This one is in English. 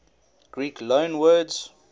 greek loanwords